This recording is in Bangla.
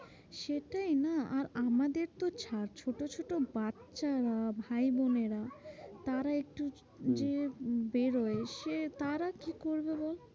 সেটাই না আর আমাদের তো ছাড়, ছোট ছোট বাচ্চা ভাই বোনেরা তারা একটু হম যে বেরোয় সে তারা কি করবে বল?